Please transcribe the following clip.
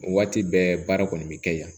O waati bɛɛ baara kɔni bɛ kɛ yan